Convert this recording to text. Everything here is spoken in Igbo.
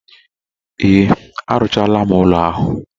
Ee, arụchaala ụlọ ahụ.